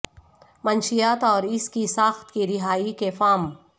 منشیات اور اس کی ساخت کی رہائی کے فارم